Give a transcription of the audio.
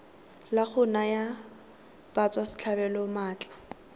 la go naya batswasetlhabelo maatla